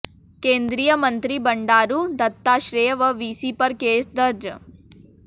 केंद्रीय मंत्री बंडारू दत्तात्रेय व वीसी पर केस दर्ज